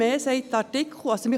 Mehr sagt der Artikel nicht.